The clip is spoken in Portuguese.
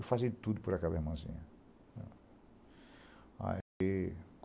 Eu fazia de tudo por aquela irmãzinha. Aí